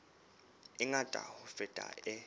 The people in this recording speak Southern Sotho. e ngata ho feta e